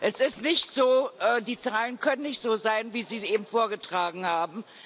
Es ist nicht so, die Zahlen können nicht so sein, wie Sie sie eben vorgetragen haben.